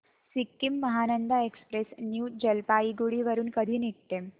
Sikkim Mahananda express new Jalpaiguri वरून कधी निघते